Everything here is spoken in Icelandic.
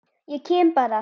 Ég kem bara.